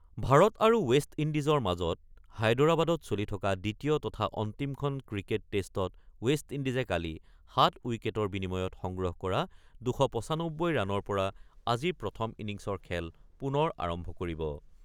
ভাৰত আৰু ৱেষ্ট ইণ্ডিজৰ মাজত হায়দৰাবাদত চলি থকা দ্বিতীয় তথা অন্তিমখন ক্ৰিকেট টেষ্টত ৱেষ্ট ইণ্ডিজে কালি ৭ উইকেটৰ বিনিময়ত সংগ্ৰহ কৰা ২৯৫ ৰাণৰ পৰা আজি প্ৰথম ইনিংছৰ খেল পুনৰ আৰম্ভ কৰিব।